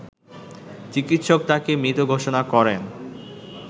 চিকিৎসক তাকে মৃত ঘোষণা করেন